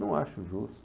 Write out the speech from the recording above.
Não acho justo.